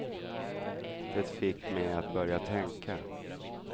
Det fick mig att börja tänka.